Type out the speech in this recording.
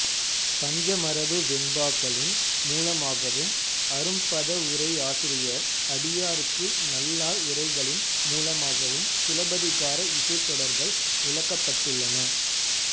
பஞ்சமரபு வெண்பாக்களின் மூலமாகவும் அரும்பதவுரையாசிரியர் அடியார்க்கு நல்லார் உரைகளின் மூலமாகவும் சிலப்பதிகார இசைத்தொடர்கள் விளக்கப்பட்டுள்ளன